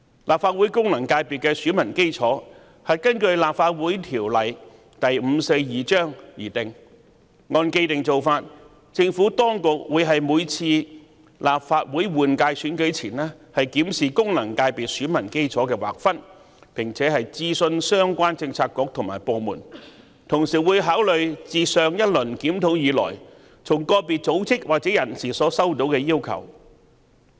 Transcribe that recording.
立法會功能界別的選民基礎是根據《立法會條例》而定，而按既定做法，政府當局在每次立法會換屆選舉前均會檢視功能界別選民基礎的劃分並諮詢相關政策局和部門，同時會考慮自上一輪檢討以來從個別組織或人士所收到的要求。